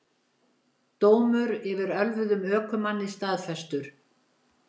Dómur yfir ölvuðum ökumanni staðfestur